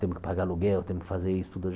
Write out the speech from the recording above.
Temos que pagar aluguel, temos que fazer isso tudo.